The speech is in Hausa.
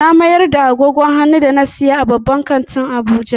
Na mayar da agogon hannu da na siyo a babban kantin Abuja.